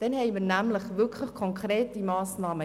Dann haben wir jetzt konkrete Massnahmen.